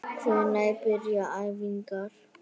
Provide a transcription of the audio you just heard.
Hvenær byrja æfingar?